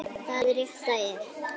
Það rétta er.